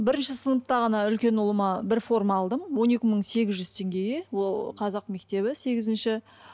бірінші сыныпта ғана үлкен ұлыма бір форма алдым он екі мың сегіз жүз теңгеге ол қазақ мектебі сегізінші